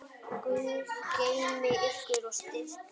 Guð geymi ykkur og styrki.